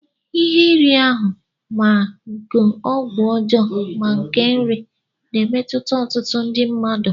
Ihe iri ahụ, ma nke ọgwụ ọjọọ, ma nke nri, na-emetụta ọtụtụ ndị mmadụ.